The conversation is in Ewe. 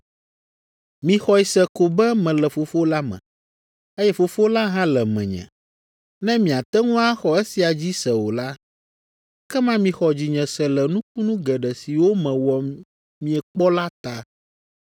Mixɔe se ko be mele Fofo la me, eye Fofo la hã le menye. Ne miate ŋu axɔ esia dzi se o la, ekema mixɔ dzinye se le nukunu geɖe siwo mewɔ miekpɔ la ta.